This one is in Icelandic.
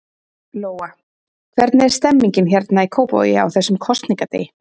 Lóa: Hvernig er stemmningin hérna í Kópavogi, á þessum kosningadegi?